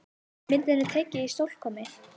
Myndin er tekin í Stokkhólmi.